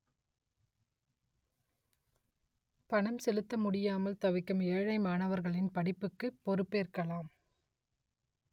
பணம் செலுத்த முடியாமல் தவிக்கும் ஏழை மாணவர்களின் படிப்புக்கு பொறுப்பேற்கலாம்